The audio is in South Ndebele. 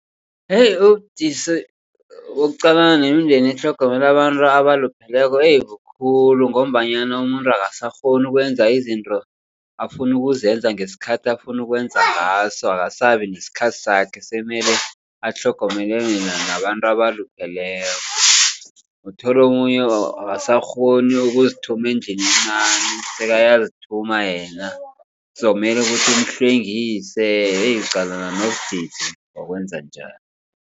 Heyi ubudisi bokuqalana nemindeni etlhogomela abantu abalupheleko heyi bukhulu. Ngombanyana umuntu angasakghoni ukwenza izinto afuna ukuzenza ngesikhathi afuna ukwenza ngaso. Akasabi nesikhathi sakhe semele atlhogomele nabantu abalupheleko. Uthole omunye angasakghoni ukuzithuma endlini encani sekayazithuma yena kuzokumele umhlwengise heyi uqalana nobudisi bokwenze njalo.